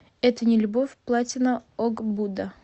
это не любовь платина ог буда